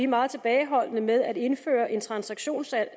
meget tilbageholdende med at indføre en transaktionsskat